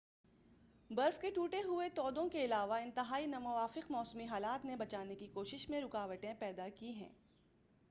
برف کے ٹوٹے ہوئے تودوں کے علاوہ انتہائی ناموافق موسمی حالات نے بچانے کی کوششوں میں رکاوٹیں پیدا کی ہیں